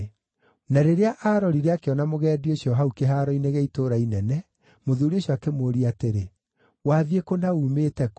Na rĩrĩa aarorire akĩona mũgendi ũcio hau kĩhaaro-inĩ gĩa itũũra inene, mũthuuri ũcio akĩmũũria atĩrĩ, “Wathiĩ kũ na uumĩte kũ?”